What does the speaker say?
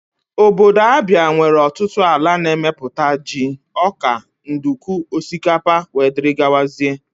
Ọbọdọ Abia nwere ọtụtụ ala na-emeputa jị, ọkà, nduku, osikapa wdg.